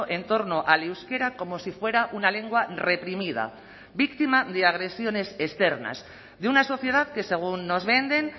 en torno al euskera como si fuera una lengua reprimida víctima de agresiones externas de una sociedad que según nos venden